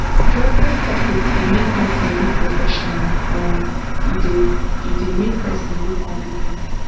dressing coperate dey make person look professional um e dey e dey make person look compe ten t